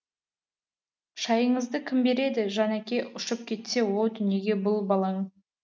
шайыңызды кім береді жан әке ұшып кетсе о дүниеге бұл балаң